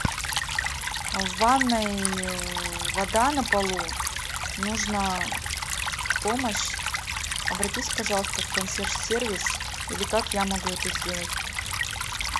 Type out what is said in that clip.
в ванной вода на полу нужна помощь обратись пожалуйста в консьерж сервис или как я могу это сделать